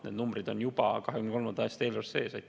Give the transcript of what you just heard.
Need numbrid on juba 2023. aasta eelarves sees.